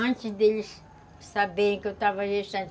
Antes deles saberem que eu estava gestante.